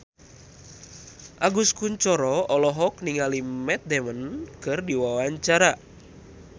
Agus Kuncoro olohok ningali Matt Damon keur diwawancara